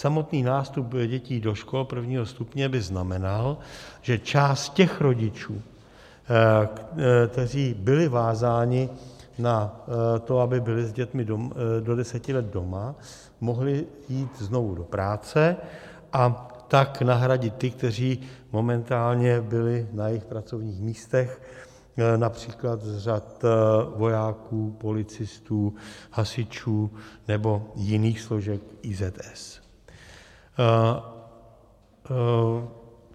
Samotný nástup dětí do škol prvního stupně by znamenal, že část těch rodičů, kteří byli vázáni na to, aby byli s dětmi do deseti let doma, mohla jít znovu do práce, a tak nahradit ty, kteří momentálně byli na jejich pracovních místech, například z řad vojáků, policistů, hasičů nebo jiných složek IZS.